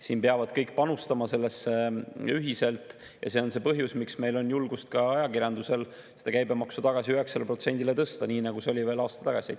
Siin peavad kõik panustama sellesse ühiselt ja see on põhjus, miks meil on julgust ajakirjanduse käibemaks tagasi 9%‑le tõsta, nii nagu see oli veel aasta tagasi.